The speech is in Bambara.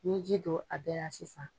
Ni ye ji don a bɛɛ la sisan.